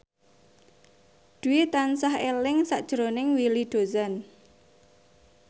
Dwi tansah eling sakjroning Willy Dozan